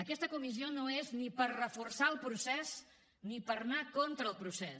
aquesta comissió no és ni per reforçar el procés ni per anar contra el procés